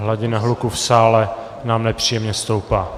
Hladina hluku v sále nám nepříjemně stoupá.